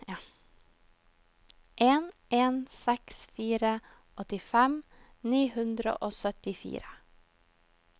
en en seks fire åttifem ni hundre og syttifire